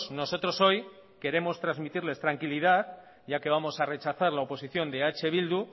nosotros hoy queremos transmitirles tranquilidad ya que vamos a rechazar la oposición de eh bildu